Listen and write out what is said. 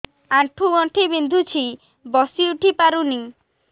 ଆଣ୍ଠୁ ଗଣ୍ଠି ବିନ୍ଧୁଛି ବସିଉଠି ପାରୁନି